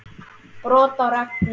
Brot á reglu.